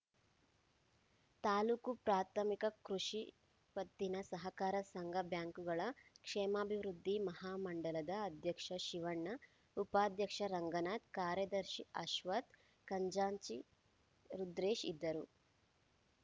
ತಾಲೂಕು ಪ್ರಾಥಮಿಕ ಕೃಷಿ ಪತ್ತಿನ ಸಹಕಾರ ಸಂಘಬ್ಯಾಂಕುಗಳ ಕ್ಷೇಮಾಭಿವೃದ್ಧಿ ಮಹಾಮಂಡಲದ ಅಧ್ಯಕ್ಷ ಶಿವಣ್ಣ ಉಪಾಧ್ಯಕ್ಷ ರಂಗನಾಥ್‌ ಕಾರ್ಯದರ್ಶಿ ಅಶ್ವಥ್‌ ಖಜಾಂಚಿ ರುದ್ರೇಶ್‌ ಇದ್ದರು